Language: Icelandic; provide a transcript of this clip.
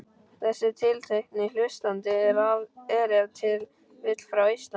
Þessi tiltekni hlustandi er ef til vill frá Eistlandi.